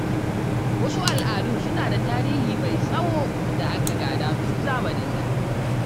Wasu al’adun suna da tarihi mai tsawo da aka gada tun zamanin da.